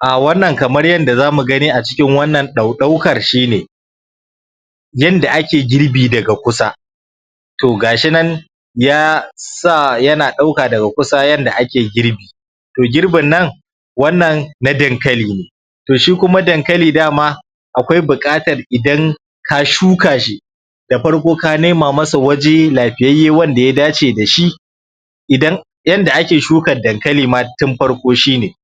A wannan kamar yadda za mu gani a cikin wannan daudaukar yanda ake girbi daga kusa to ga shi nan ya sa yana ɗauka daga kusa yanda ake girbi to girbin nan wannan na dankali ne to shi kuma dankali da ma akwai buƙatar idan ka shuka shi da farko ka nema masa waje lafiyayye wanda ya dace da shi idan yanda ake shuka dankali ma tun farko shi ne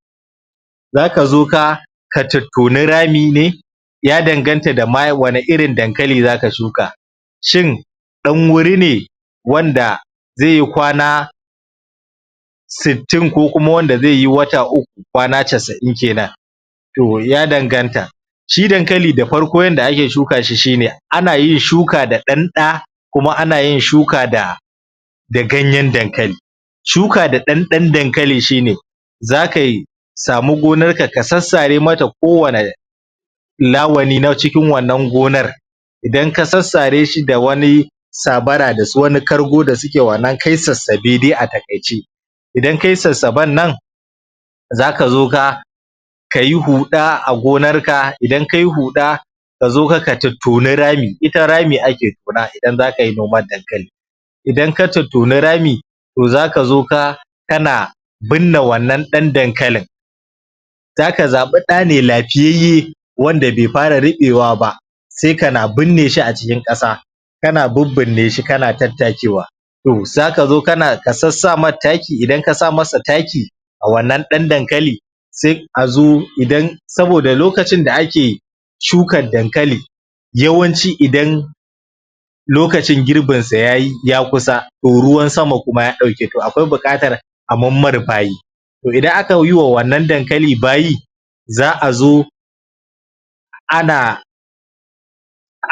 za ka zo ka ka tattoni rami ne ya danganta da ma wani irin dankali zaka shuka shin dan wuri ne wanda zai yi kwana sittin ko kuma wanda zai yi wata uku kwana casa'in kenan to ya danganta shi dankali da farko yanda ake shuka shi shi ne ana yin shuka da ɗan ɗa kuma ana yin shuka da da ganyen dankali shuka da ɗan ɗan dankali shi ne zaka yi samu gonarka ka sassare mata kowane lawali na cikin wannan gonar idan ka sassare shi da wani sabara da su wani kargo da suke wannan ka yi sassabe dai a taƙaice idan ka yi sassaban nan zaka zo ka ka yi huɗa a gonarka idan ka yi huɗa ka zo ka, ka tattoni rami ita rami ake tona idan zaka yi noman dankali idan ka tattini rami to zaka zo ka kana binne wannan dan dankalin zaka zaɓi ɗa ne lafiyayye wanda bai fara riɓewa ba sai kana binne shi a cikin ƙasa kana bibbine shi kana tattakewa to zaka zo kana ka sassa mai taki idan ka sa masa taki a wannan ɗan dankali sai a zo idan saboda lokacin da ake shukar dankali yawanci idan lokacin girbin sa yayi ya kusa to ruwan sama kuma ya ɗauke to akwai buƙatar a manmar bayi to idan aka yi wa wannan dankali bayi za a zo ana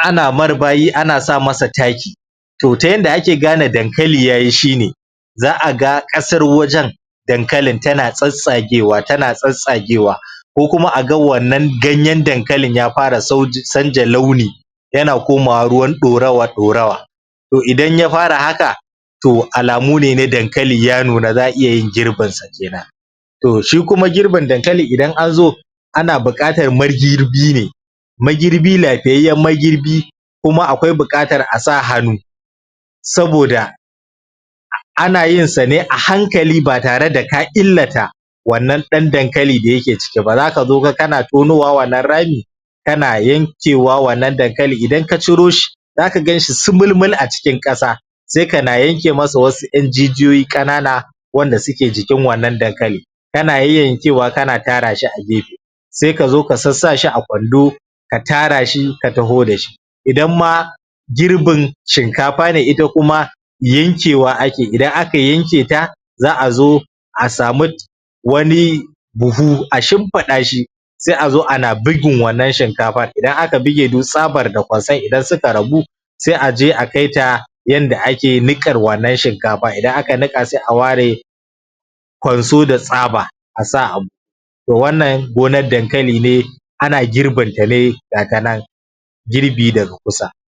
ana mar bayi ana sa masa taki to yanda ake gane dankali ya yi shi ne za a ga ƙasar wajen dankalin tana tsattsagewa tana tsattsagewa ko kuma a ga wannan ganyen dankalin ya fara sauya launi yana komawa ruwan ɗorawa-ɗorawa to idan ya fara haka to alamu ne na dankali ya nuna za a iya yin girbin sa kenan to shi kuma girbin dankali idan an zo ana buƙatar magirbi ne magirbi lafiyayyen magirbi kuma akwai buƙatar a sa hannu saboda ana yin sa ne a hankali ba tare da ka illata wannan ɗan dankali yake ciki ba zaka zo ka kana tonowa wannan rami kana yankewa wannan dankali idan ka ciro shi zaka gan shi sumulmul a cikin ƙasa sai kana yanke masa wasu ƴan jijiyoyi ƙanana wanda suke jikin wannan dankali kana yayyankewa kana tara shi a gefe sai ka zo ka sassa shi a kwando ka tara shi ka taho da shi idan ma girbin shinkafa ne ita kuma yankewa ake idan aka yanke ta za a zo a samu wani buhu a shimfiɗa shi sai a zo ana bugun wannan shinkafar idan aka buge duk tsabar da kwanson idan suka rabu sai a je a kai ta yanda ake niƙar wannan shinkafar idan aka niƙa sai a ware kwanso da tsaba a sa a buhu to wannan gonar dankali ne ana girbin ta ne ga ta nan girbi daga kusa